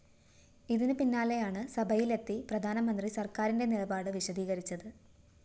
ഇതിന് പിന്നാലെയാണ് സഭയിലെത്തി പ്രധാനമന്ത്രി സര്‍ക്കാരിന്റെ നിലപാട് വിശദീകരിച്ചത്